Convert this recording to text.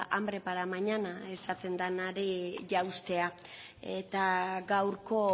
hambre para mañana esaten denari jauztea eta gaurko